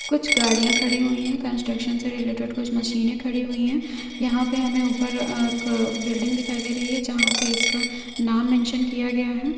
कुछ गाड़ियां खड़ी हुई है कंस्ट्रक्शन से रिलेटेड कुछ मशीने खड़ी हुई है यहाँ पर हमे ऊपर बिल्डिंग दिखाई दे रही है|